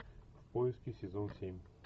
в поиске сезон семь